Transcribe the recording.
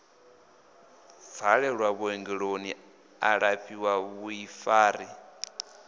bvalelwe vhuongeloni a lafhiwe vhuḓifari